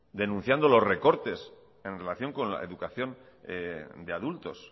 denunciando los recortes en relación con la educación de adultos